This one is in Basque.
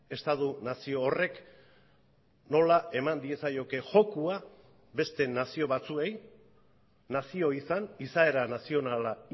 estatu nazio horrek nola eman diezaioke jokoa beste nazio batzuei nazio izan izaera nazionala